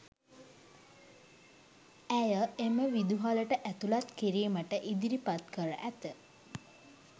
ඇය එම විදුහලට ඇතුළත්කිරීමට ඉදිරිපත් කර ඇත